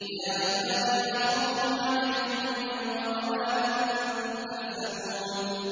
يَا عِبَادِ لَا خَوْفٌ عَلَيْكُمُ الْيَوْمَ وَلَا أَنتُمْ تَحْزَنُونَ